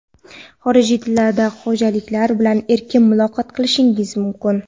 xorijiy tillarda xorijliklar bilan erkin muloqot qilishimiz mumkin.